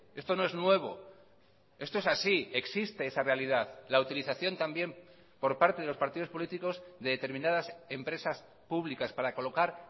esto no es nuevo esto es así existe esa realidad la utilización también por parte de los partidos políticos de determinadas empresas públicas para colocar